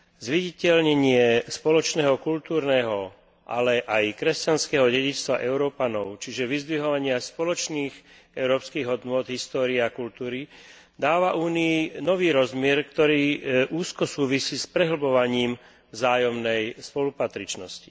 Zviditeľnenie spoločného kultúrneho, ale aj kresťanského dedičstva Európanov, čiže vyzdvihovanie spoločných európskych hodnôt z hľadiska histórie a kultúry, dáva Únii nový rozmer, ktorý úzko súvisí s prehlbovaním vzájomnej spolupatričnosti.